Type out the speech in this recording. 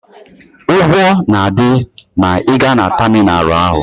Ụgwọ na-adị ma ị gaa na tamịnalụ ahụ.